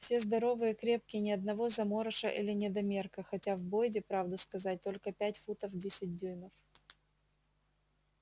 все здоровые крепкие ни одного заморыша или недомерка хотя в бойде правду сказать только пять футов десять дюймов